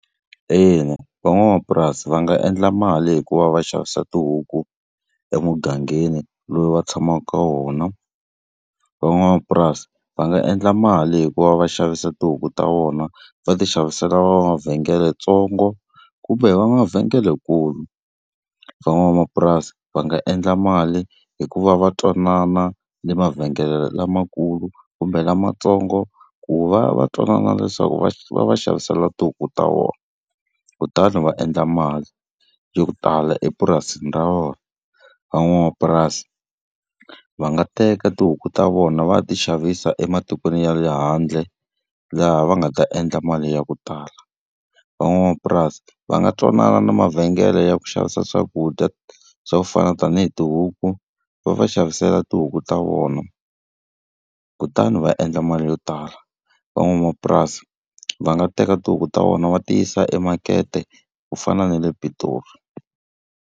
Ina, van'wamapurasi va nga endla mali hi ku va va xavisa tihuku emugangeni lowu va tshamaka ka wona. Van'wamapurasi va nga endla mali hi ku va va xavisa tihuku ta vona va ti xavisela mavhengeletsongo, kumbe va mavhengelenkulu. Van'wamapurasi va nga endla mali hi ku va va twanana le mavhengele lamakulu kumbe lamatsongo ku va va twanana leswaku va va va xavisela tihuku ta vona kutani va endla mali yo tala epurasini ra vona. Van'wamapurasi va nga teka tihuku ta vona va ya ti xavisa ematikweni ya le handle, laha va nga ta endla mali ya ku tala. Van'wamapurasi va nga twanana na mavhengele ya ku xavisa swakudya swa ku fana tanihi tihuku, va va xavisela tihuku ta vona kutani va endla mali yo tala. Van'wamapurasi va nga teka tihuku ta vona va ti yisa emakete ku fana na le Pitori.